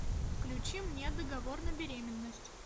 включи мне договор на беременность